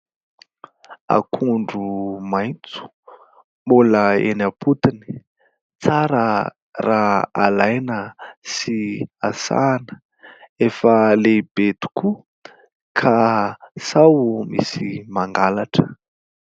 Akondro maitso mbola eny am-potony tsara raha alaina sy rasana, efa lehibe tokoa ka sao misy mangalatra.